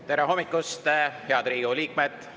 Tere hommikust, head Riigikogu liikmed!